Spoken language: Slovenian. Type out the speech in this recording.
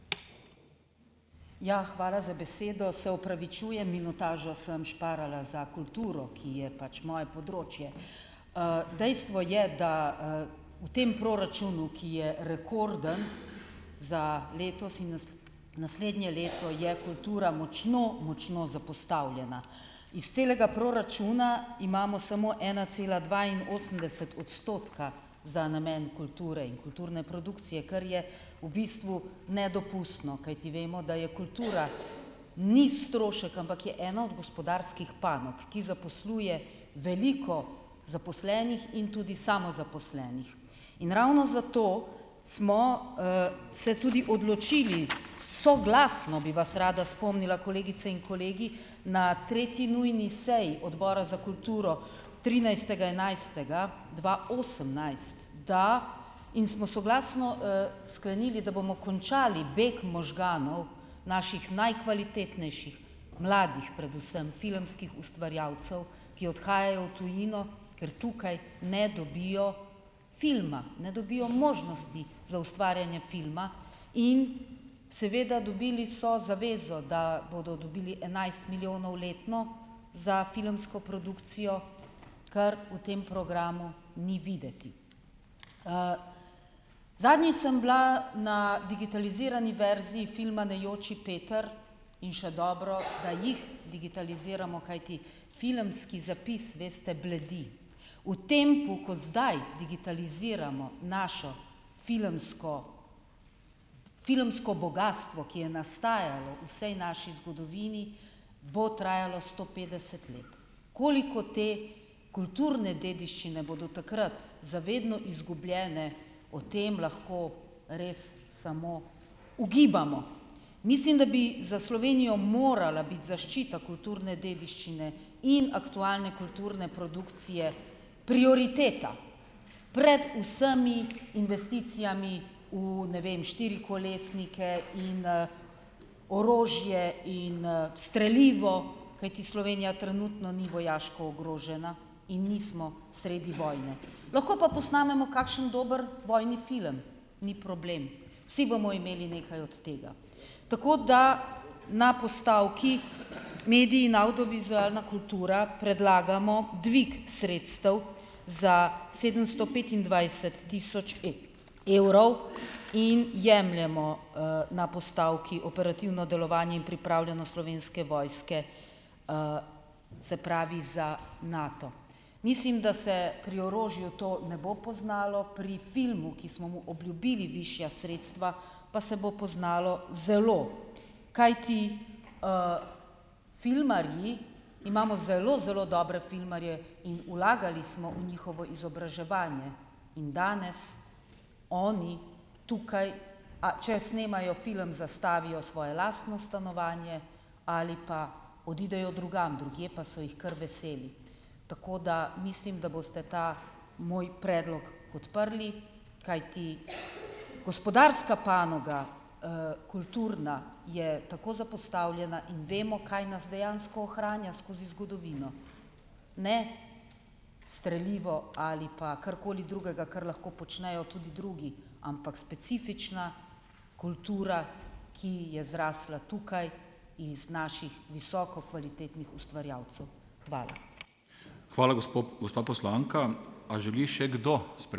Ja, hvala za besedo. Se opravičujem, minutažo sem šparala za kulturo, ki je pač moje področje. dejstvo je, da, v tem proračunu, ki je rekorden za letos in naslednje leto, je kultura močno, močno zapostavljena. Iz celega proračuna imamo samo ena cela dvainosemdeset odstotka za namen kulture in kulturne produkcije, kar je v bistvu nedopustno, kajti vemo, da je kultura ni strošek, ampak je ena od gospodarskih panog, ki zaposluje veliko zaposlenih in tudi samozaposlenih. In ravno zato smo, se tudi odločili soglasno, bi vas rada spomnila, kolegice in kolegi, na tretji nujni seji Odbora za kulturo, trinajstega enajstega dva osemnajst, da, in smo soglasno, sklenili, da bomo končali beg možganov naših najkvalitetnejših, mladih predvsem, filmskih ustvarjalcev, ki odhajajo v tujino, ker tukaj ne dobijo filma. Ne dobijo možnosti za ustvarjanje filma in seveda dobili so zavezo, da bodo dobili enajst milijonov letno za filmsko produkcijo, kar v tem programu ni videti. zadnjič sem bila na digitalizirani verziji filma Ne joči, Peter, in še dobro, da jih digitaliziramo, kajti filmski zapis, veste, bledi. V tem zdaj digitaliziramo naše filmsko, filmsko bogastvo, ki je nastajalo v vsej naši zgodovini, bo trajalo sto petdeset let. Koliko te kulturne dediščine bodo takrat za vedno izgubljene, o tem lahko res samo ugibamo. Mislim, da bi za Slovenijo morala biti zaščita kulturne dediščine in aktualne kulturne produkcije prioriteta. Pred vsemi investicijami v, ne vem, štirikolesnike in, orožje in, strelivo, kajti Slovenija trenutno ni vojaško ogrožena in nismo sredi vojne. Lahko pa posnamemo kakšen dober vojni film. Ni problem. Vsi bomo imeli nekaj od tega. Tako, da na postavki Mediji in avdiovizualna kultura predlagamo dvig sredstev za sedemsto petindvajset tisoč evrov in jemljemo, na postavki Operativno delovanje in pripravljenost Slovenske vojske, se pravi za Nato. Mislim, da se pri orožju to ne bo poznalo. Pri filmu, ki smo mu obljubili višja sredstva, pa se bo poznalo zelo. Kajti, filmarji, imamo zelo, zelo dobre filmarje in vlagali smo v njihovo izobraževanje in danes oni tukaj, a če snemajo film, zastavijo svoje lastno stanovanje ali pa odidejo drugam, drugje pa so jih kar veseli. Tako, da mislim, da boste ta moj predlog podprli, kajti gospodarska panoga, kulturna je tako zapostavljena in vemo, kaj nas dejansko ohranja skozi zgodovino. Ne strelivo ali pa karkoli drugega, kar lahko počnejo tudi drugi. Ampak specifična kultura, ki je zrasla tukaj iz naših visoko kvalitetnih ustvarjalcev. Hvala. Hvala gospa poslanka. A želi še kdo ...